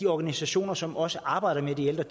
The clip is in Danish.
organisationer som også arbejder med de ældre